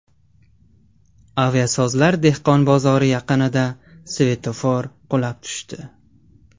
Aviasozlar dehqon bozori yaqinida svetofor qulab tushdi.